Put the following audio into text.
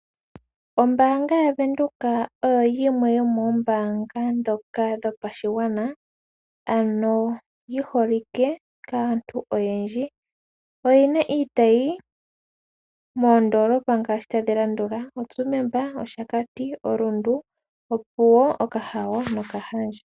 Ombaanga ya windhoek oyo yimwe yomoombanga dhoka dhopashigwana yiholike kaantu oyendji. Oyina iitayi moondolopa ngaashi tadhilandula mo Tsumeb, Outapi, Rundu, Opuwo, Okahao nOkahandja.